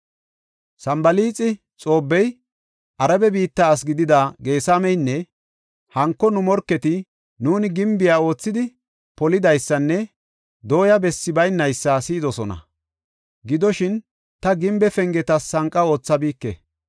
Sanbalaaxi, Xoobbey, Arabe biitta asi gidida Geesameynne hanko nu morketi nuuni gimbiya oothidi polidaysanne dooya bessi baynaysa si7idosona. Gidoshin, ta gimbe pengetas sanqa aathabike.